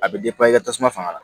A bɛ i ka tasuma fanga la